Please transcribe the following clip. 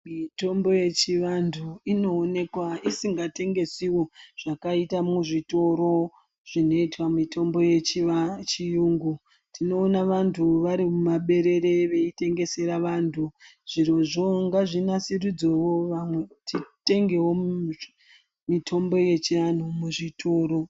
Mitombo yechivanhu inooneka isingatengesiwo zvakaita muzvitoro zvinoita mitombo yechiyungu ,tinoona vantu vari mumaberere veitengesera vanhu zvirozvo ngazvinasiriswe vanhu titengewo mitombo yechianhu muzvitoro.